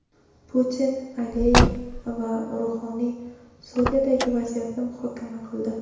Putin, Aliyev va Ruhoniy Suriyadagi vaziyatni muhokama qildi.